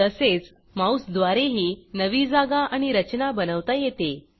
तसेच माऊसद्वारेही नवी जागा आणि रचना बनवता येते